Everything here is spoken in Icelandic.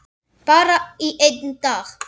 Bara í einn dag.